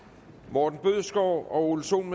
morten bødskov og ole sohn